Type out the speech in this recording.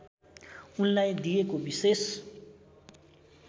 उनलाई दिएको विशेष